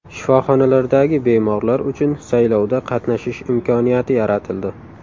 Shifoxonalardagi bemorlar uchun saylovda qatnashish imkoniyati yaratildi.